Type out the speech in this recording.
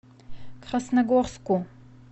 красногорску